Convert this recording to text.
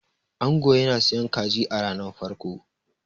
ango yana siyan kaji a ranar farko